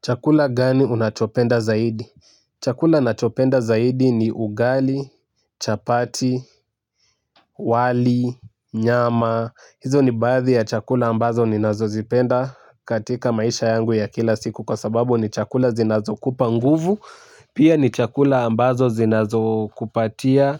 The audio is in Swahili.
Chakula gani unachopenda zaidi? Chakula nachopenda zaidi ni ugali, chapati, wali, nyama. Hizo ni baathi ya chakula ambazo ni nazozipenda, katika maisha yangu ya kila siku kwa sababu ni chakula zinazokupa nguvu. Pia, ni chakula ambazo zinazokupatia.